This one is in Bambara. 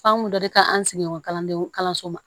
Famori dɔ de ka kan an sigiɲɔgɔn kalandenw kalanso ma